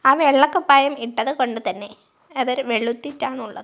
ആ വെള്ള കുപ്പായം ഇട്ടത് കൊണ്ട് തന്നെ അതൊരു വെളുത്തിട്ടാണ് ഉള്ളത്.